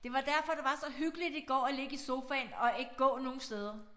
Det var derfor det var så hyggeligt i går at ligge i sofaen og ikke gå nogen steder